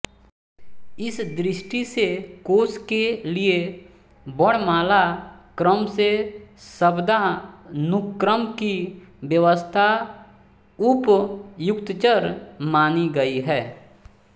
इस दृष्टि से कोश के लिये वर्णमाला क्रम से शब्दानुक्रम की व्यवस्था उपयुक्ततर मानी गई